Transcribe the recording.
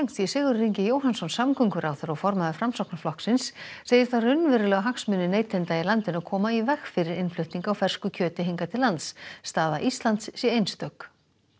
Sigurður Ingi Jóhannsson samgönguráðherra og formaður Framsóknarflokksins segir það raunverulega hagsmuni neytenda í landinu að koma í veg fyrir innflutning á fersku kjöti hingað til lands staða Íslands sé einstök